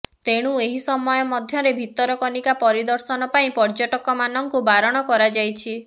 ତେଣୁ ଏହି ସମୟ ମଧ୍ୟରେ ଭିତରକନିକା ପରିଦର୍ଶନ ପାଇଁ ପର୍ଯ୍ୟଟକମାନଙ୍କୁ ବାରଣ କରାଯାଇଛି